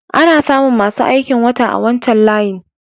Ana samu masu aikin wata a wancan layin.